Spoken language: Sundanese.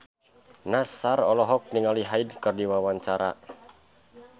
Nassar olohok ningali Hyde keur diwawancara